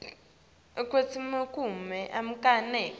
kwekutsi kumele anake